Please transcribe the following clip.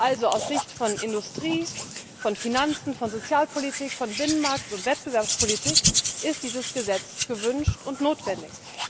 Also aus Sicht von Industrie, Finanzen, Sozialpolitik, Binnenmarkt und Wettbewerbspolitik ist dieses Gesetz gewünscht und notwendig.